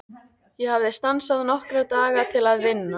Ég hafði stansað nokkra daga til að vinna.